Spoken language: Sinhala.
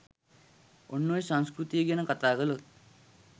ඔන්න ඔය සංස්කෘතිය ගැන කතා කලොත්